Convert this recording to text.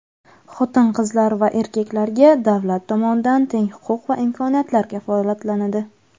Xotin-qizlar va erkaklarga davlat tomonidan teng huquq va imkoniyatlar kafolatlanadi.